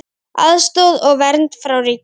Aðstoð og vernd frá ríkinu